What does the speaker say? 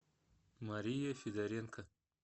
мария федоренко